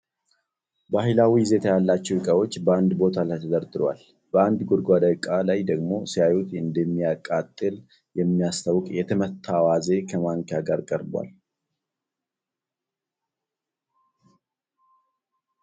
ባህላዊ ይዘት ያላቸው እቃዎች በአንድ ቦታ ላይ ተደርድሯል። በአንድ ጎድጓዳ እቃ ላይ ደግሞ ሲያዩት እንደሚያቃጥል የሚያስታውቅ የተመታ አዋዜ ከማንኪያ ጋር ቀርቧል።